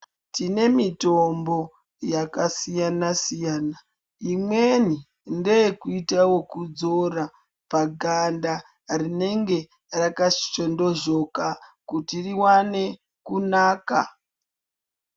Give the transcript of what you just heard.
Tine mitombo yaka siyana siyana imweni ndeye kuita yeku dzora pa ganda rinenge raka shondozhoka kuti riwane kunaka.